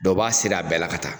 Dɔ b'a ser'a bɛɛ la ka taa